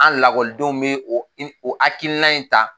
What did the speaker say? An lakɔlidenw bɛ o i o hakilina in ta.